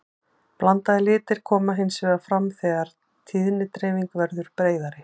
blandaðir litir koma hins vegar fram þegar tíðnidreifingin verður breiðari